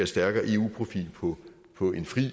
stærkere eu profil på på en fri